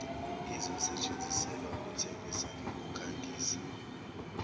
izosetshenziselwa ukuthengisa nokukhangisa